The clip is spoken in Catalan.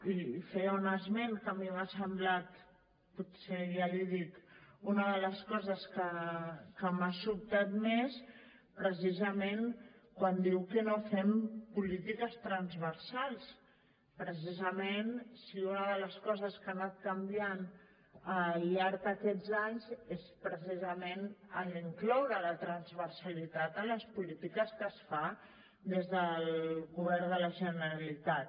i feia un esment que a mi m’ha semblat potser ja li dic una de les coses que m’ha sobtat més precisament quan diu que no fem polítiques transversals precisament si una de les coses que ha anat canviant al llarg d’aquests anys és precisament l’incloure la transversalitat en les polítiques que es fa des del govern de la generalitat